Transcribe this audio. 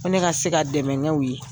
Min ne ka se ka dɛmɛnew ye